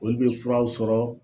Olu bɛ furaw sɔrɔ.